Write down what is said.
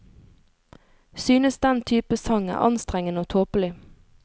Synes den type sang er anstrengende og tåpelig.